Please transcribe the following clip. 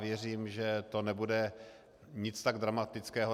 Věřím, že to nebude nic tak dramatického.